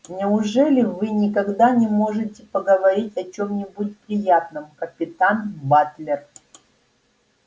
неужели вы никогда не можете поговорить о чем-нибудь приятном капитан батлер